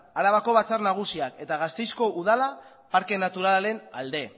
arabako batzar nagusia eta gasteizko udala parke naturalaren alde